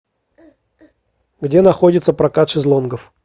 где находится прокат шезлонгов